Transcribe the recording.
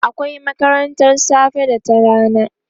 akwai makarantan safe da ta rana